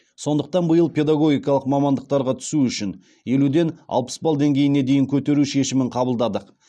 сондықтан биыл педагогикалық мамандықтарға түсу үшін елуден алпыс балл деңгейіне дейін көтеру шешімін қабылдадық